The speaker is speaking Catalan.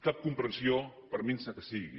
cap comprensió per minsa que sigui